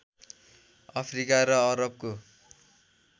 Africa र अरबको